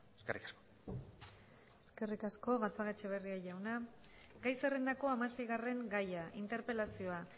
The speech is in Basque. eskerrik asko eskerrik asko gatzagaetxebarria jauna gai zerrendako hamaseigarren gaia interpelazioa